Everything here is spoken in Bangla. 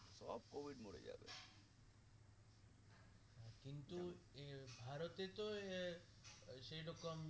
কিন্তু এ ভারতে এ ওই সেই রকম